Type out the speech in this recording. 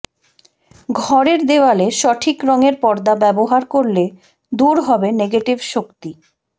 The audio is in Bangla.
ঘরের দেওয়ালে সঠিক রঙের পর্দা ব্যবহার করলে দূর হবে নেগেটিভ শক্তি